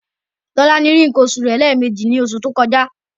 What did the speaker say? Tolani rí nǹkan oṣù rẹ̀ lẹ́ẹ̀meji ní oṣù tó kọjá.